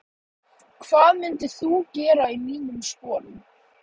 hvað myndir þú gera í mínum sporum?